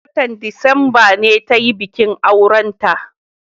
watan disamba ne tayi bikin aurenta